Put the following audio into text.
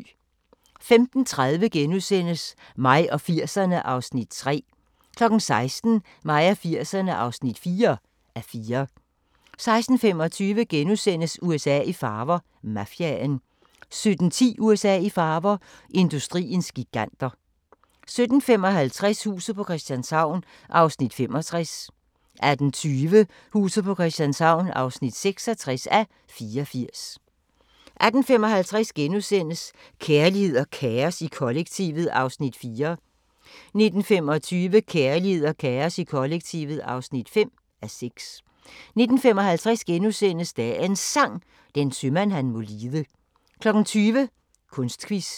15:30: Mig og 80'erne (3:4)* 16:00: Mig og 80'erne (4:4) 16:25: USA i farver – Mafiaen * 17:10: USA i farver – industriens giganter 17:55: Huset på Christianshavn (65:84) 18:20: Huset på Christianshavn (66:84) 18:55: Kærlighed og kaos i kollektivet (4:6)* 19:25: Kærlighed og kaos i kollektivet (5:6) 19:55: Dagens Sang: Den sømand han må lide * 20:00: Kunstquiz